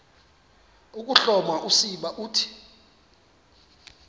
ukuhloma usiba uthi